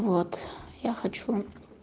вот я хочу